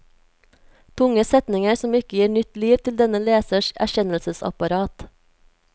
Tunge setninger som ikke gir nytt liv til denne lesers erkjennelsesapparat.